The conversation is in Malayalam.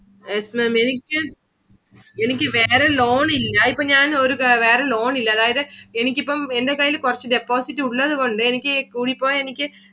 Yes Maám Maám എനിക്ക്~ എനിക്ക് വേറെ loan ഇല്ല ഇപ്പൊ ഞാൻ ഒരു വേറെ loan ഇല്ല. അതായതു എനിക്ക് എനിക്കിപ്പം എന്റെ കയ്യില് കുറച്ചു deposit ഉള്ളത് കൊണ്ട് എനിക്ക് കൂടി പോയ എനിക്ക്